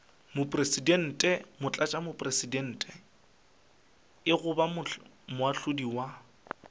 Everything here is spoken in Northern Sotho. mopresidente motlatšamopresidente goba moahlodi wa